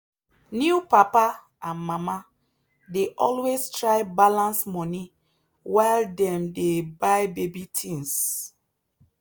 new papa and mama dey always try balance money while dem dey buy baby things.